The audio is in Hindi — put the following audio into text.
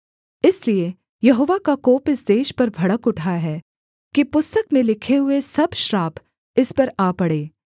इसलिए यहोवा का कोप इस देश पर भड़क उठा है कि पुस्तक में लिखे हुए सब श्राप इस पर आ पड़ें